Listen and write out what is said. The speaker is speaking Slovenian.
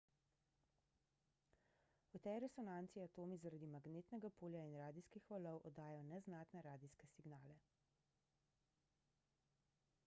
v tej resonanci atomi zaradi magnetnega polja in radijskih valov oddajajo neznatne radijske signale